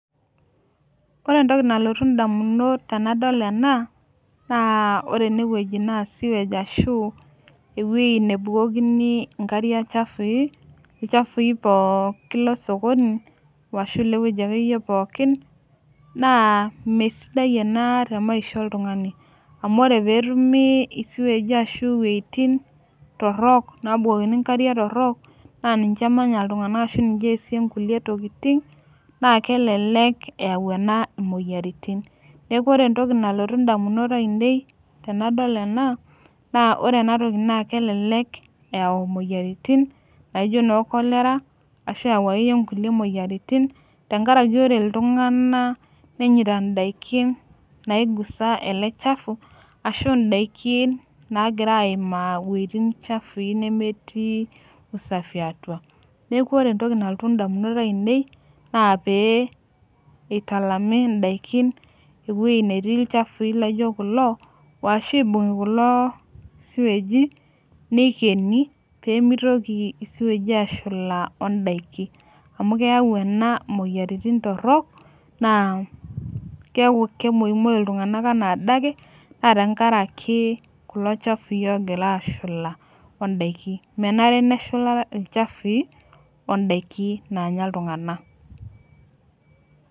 Ore entoki nalotu ndamunot tenadol ena naa ore ena naa sewage ashu eweji nebukokini nkariak chafui, lchafui pookin losokoni ashu eweji akeyie pookin ,naa mesidai ena te maisha oltungani. Amu ore pee etumi siwagi ashu wejitin torok nabukukini nkariak torok naaninye emanyata iltunganak ashu ninye eesie nkulie tokiting, naa kelelek eyau ena moyiaritin. Neeku ore entoki nalotu ndamunot ainei tenadol ena ,naa ore ena kelelek eyau moyiaritin naijo noo cholera ashu eyau akeyie nkulie moyiaritin tenkaraki ore iltunganak nenyita ndaiki naigusaa ele chafu, ashu ndaikin naagira aimaa wejitin chafui nemetii usafi atua. Neeku ore entoki nalotu ndamunot ainei naa pee eitalami ndaikin eweji netii ilchafui laijo kulo ,ashu eibungi kulo siwegi nikeni pee mitoki siwagi ashula ondaiki. Amu keyau ena moyiaritin torok ,naa kemoimoyu iltunganak enaadake ,naa tenkaraki kulo chafui ogira ashula ondaiki. Menare neshula ilchafui ondaiki naanya iltunganak.